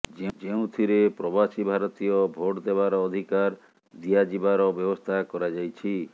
ଯେଉଁଥିରେ ପ୍ରବାସୀ ଭାରତୀୟ ଭୋଟ୍ ଦେବାର ଅଧିକାର ଦିଆଯିବାର ବ୍ୟବସ୍ଥା କରାଯାଇଛି